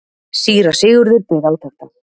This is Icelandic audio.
Síra Sigurður beið átekta.